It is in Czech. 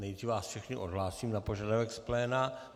Nejdřív vás všechny odhlásím na požadavek z pléna.